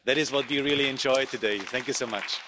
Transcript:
That is what we really enjoyed today, thank you so much.